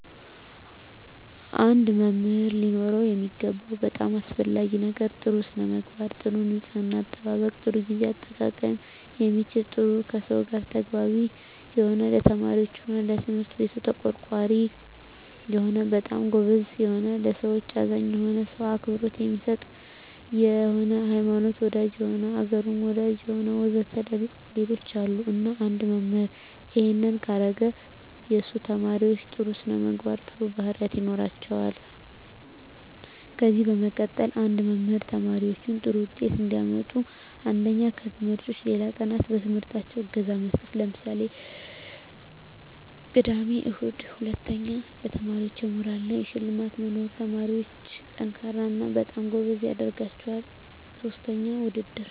አንድ መምህር ሊኖረው የሚገባው በጣም አሰፈላጊ ነገር ጥሩ ስነምግባር ጥሩ ንጽሕና አጠባበቅ ጥሩ ግዜ አጠቃቀም የሚችል ጥሩ ከሰው ጋር ተግባቢ የሆነ ለተማሪዎች ሆነ ለትምህርት ቤቱ ተቆርቋሪ የሆነ በጣም ጎበዝ የሆነ ለሠዎች አዛኝ የሆነ ሰው አክብሮት የሚሰጥ የሆነ ሀይማኖት ወዳጅ የሆነ አገሩን ወዳጅ የሆነ ወዘተ ሌሎችም አሉ እና አንድ መምህራን እሄን ካረገ የሱ ተመራማሪዎች ጥሩ ስነምግባር ጥሩ ባህሪያት ይኖራቸዋል ከዚ በመቀጠል አንድ መምህር ተማሪዎች ጥሩ ውጤት እንዲያመጡ አንደኛ ከትምህርት ውጭ ሌላ ቀናት በትምህርታቸው እገዛ መስጠት ለምሳሌ ቅዳሜ እሁድ ሁለተኛ ለተማሪዎች የሞራል እና የሽልማት መኖር ተማሪዎች &ጠንካራ እና በጣም ጎበዝ ያደረጋቸዋል ሥስተኛ ውድድር